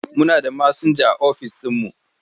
Muna da masinja a office ɗinmu.